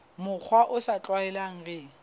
mokgwa o sa tlwaelehang re